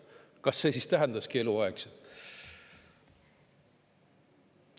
Kas see siis tähendaski eluaegset?